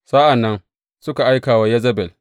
Sa’an nan suka aika wa Yezebel.